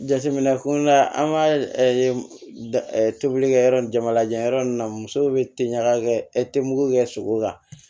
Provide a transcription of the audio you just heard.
Jateminɛ kunna an ka tobilikɛyɔrɔ ni jamanajan yɔrɔ ninnu na musow bɛ teliya ka kɛ e te mugu kɛ sogo kan